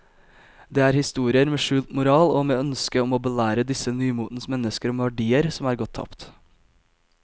Det er historier med skjult moral og med ønske om å belære disse nymotens mennesker om verdier som er gått tapt.